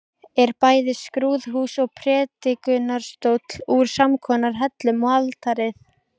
Er bæði skrúðhús og prédikunarstóll úr samskonar hellum og altarið.